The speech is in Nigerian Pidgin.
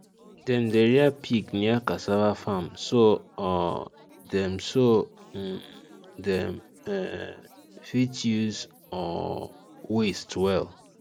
dem dey rear pig near cassava farm so um dem so um dem um fit use the um waste well